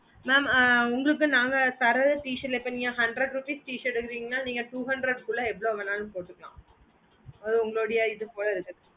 mam ஆஹ் உங்களுக்கு நாங்க தர t shirt ல இப்போ நீங்க hundred rupees t shirt எடுத்திங்கனா நீங்க two hundred குள்ள ஏவொல்வோ வேணாலும் போட்டுக்கலாம் அது உங்களோட இது போல இருக்கு